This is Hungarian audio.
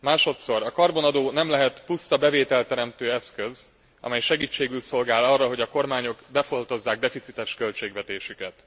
Másodszor, a karbonadó nem lehet puszta bevételteremtő eszköz, amely segítségül szolgál arra, hogy a kormányok befoltozzák deficites költségvetésüket.